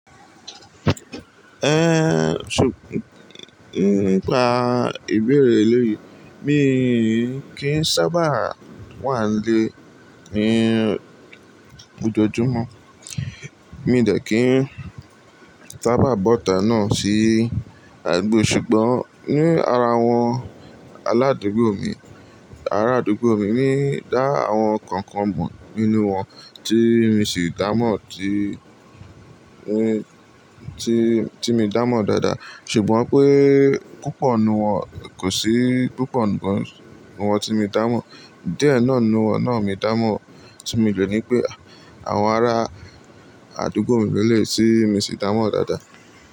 Ẹ́, ṣùgbọ́n nípa ìbéèrè eléyìí, mi kí ń sábà wà nílé ní ojoojúmọ́. Mi de kí ń sábà bọ́ta náà sí àdúgbò ṣùgbọ́n ní ara àwọn aládùúgbò mi, ara àdúgbò mi ní dá àwọn kọ̀ọ̀kan mọ̀ nínú wọn tí mi sì dá mọ̀ tí, tí, tí mi dá mọ̀ dáadáa. Ṣùgbọ́n pé púpọ̀ nínú wọn kò sí, púpọ̀ nǹkan nínú wọn tí mi dá mọ̀. Díẹ̀ náà nínú wọn náà mi dá mọ̀ tí mi le ní pé àwọn ará àdúgbò mi mélòó tí mi sì dá mọ̀ dáadáa.